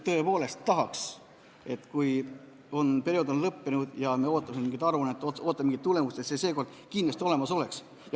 Tõepoolest tahaks, et kui periood on lõppenud ja me ootame mingit aruannet, ootame mingit tulemust, et see seekord kindlasti olemas oleks.